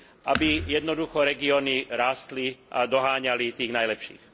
aby jednoducho regióny rástli a doháňali tých najlepších.